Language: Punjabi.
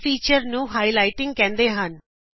ਇਸ ਫੀਚਰ ਨੂੰ ਅਸੀਂਹਾਈਲਾਈਟਿੰਗ ਕਹਿੰਦੇ ਹਾਂ